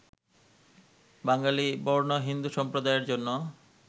বাঙালি বর্ণ-হিন্দু সম্প্রদায়ের জন্য